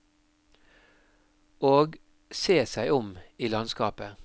Og se seg om i landskapet.